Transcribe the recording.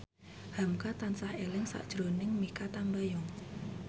hamka tansah eling sakjroning Mikha Tambayong